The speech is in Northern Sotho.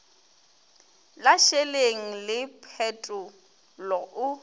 la šeleng le phetolo o